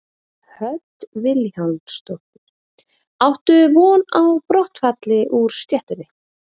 Hödd Vilhjálmsdóttir: Áttu von á brottfalli úr stéttinni?